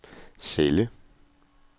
celle